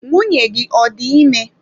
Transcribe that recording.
Nwunye gị ọ dị ime?